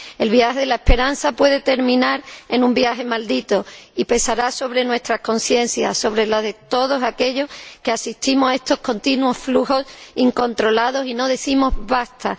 El viaje de la esperanza puede terminar convirtiéndose en un viaje maldito y pesará sobre nuestras conciencias, sobre las de todos aquellos que asistimos a estos continuos flujos incontrolados y no decimos ¡basta!